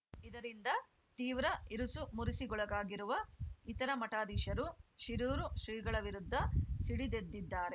ಇದರಿಂದ ತೀವ್ರ ಇರುಸುಮುರುಸಿಗೊಳಗಾಗಿರುವ ಇತರ ಮಠಾಧೀಶರು ಶಿರೂರು ಶ್ರೀಗಳ ವಿರುದ್ಧ ಸಿಡಿದೆದ್ದಿದ್ದಾರೆ